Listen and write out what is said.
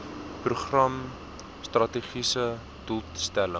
program strategiese doelstelling